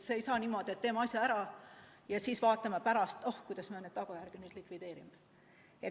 Ei saa niimoodi, et teeme asja ära ja siis vaatame pärast, et oh, kuidas me neid tagajärgi nüüd likvideerime.